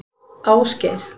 Ásgeir